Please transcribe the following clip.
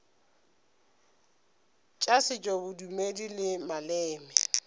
tša setšo bodumedi le maleme